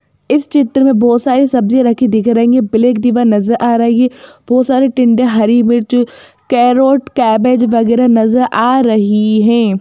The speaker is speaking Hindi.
इस चित्र में बहुत सारी सब्जियां रखी दिख रही हैं ब्लैक दिवार नजर आ रही हैं बहुत सारे टिंडे हरी मिर्च कैरोट कैबेज वगैरह नजर आ रही हैं।